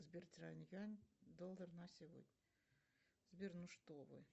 сбер доллар на сегодня сбер ну что вы